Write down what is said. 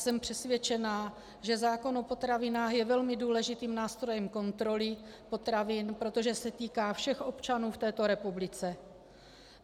Jsem přesvědčená, že zákon o potravinách je velmi důležitým nástrojem kontroly potravin, protože se týká všech občanů v této republice.